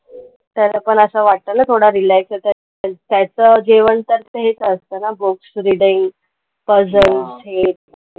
तर आपण असं वाटतं ना, थोडं relax आहे तर, तर मग त्याचं जेवण तर तेच असतं ना, books reading, puzzels हे.